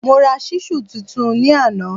Mo ra ṣísù tuntun ní àná